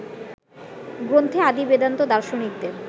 গ্রন্থে আদি বেদান্ত দার্শনিকদের